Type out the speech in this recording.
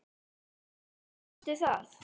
Hélstu það?